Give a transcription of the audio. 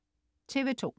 TV2: